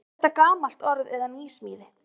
Er þetta gamalt orð eða nýsmíði?